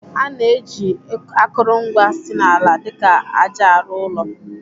Ana eji akụrụngwa si n'ala dịka àjà arụ ụlọ.